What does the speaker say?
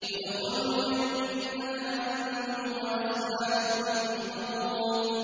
ادْخُلُوا الْجَنَّةَ أَنتُمْ وَأَزْوَاجُكُمْ تُحْبَرُونَ